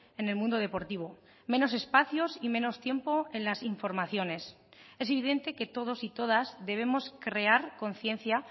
en el mundo deportivo menos espacios y menos tiempo en las informaciones es evidente que todos y todas debemos crear conciencia